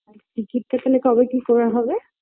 টিকিটটা এখানে কবে কি করা হবে